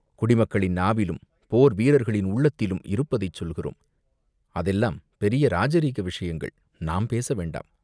"குடிமக்களின் நாவிலும், போர் வீரர்களின் உள்ளத்திலும் இருப்பதைச் சொல்கிறோம்!" "அதெல்லாம் பெரிய இராஜரீக விஷயங்கள், நாம் பேசவேண்டாம்.